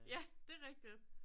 Ja det rigtigt